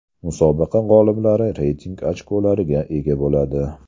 Musobaqa g‘oliblari reyting ochkolariga ega bo‘ladi.